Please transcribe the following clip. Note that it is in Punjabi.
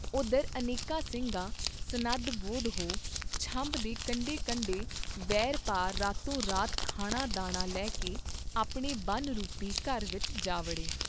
ਓਧਰ ਅਨੇਕਾਂ ਸਿੰਘ ਸਨੱਧ ਬੋਧ ਹੋ ਛੰਭ ਦੇ ਕੰਢੇ ਕੰਢੇ ਵਹੀਰ ਪਾ ਰਾਤੋ ਰਾਤ ਖਾਣਾ ਦਾਣਾ ਲੈ ਕੇ ਆਪਣੇ ਬਨ ਰੂਪੀ ਘਰ ਵਿਚ ਜਾ ਵੜੇ